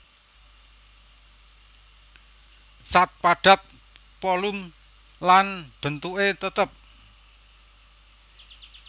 Zat Padat volum lan bentuké tetep